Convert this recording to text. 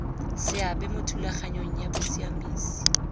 seabe mo thulaganyong ya bosiamisi